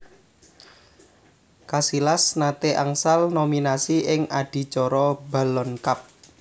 Casillas nate angsal nominasi ing adicara Ballon Cup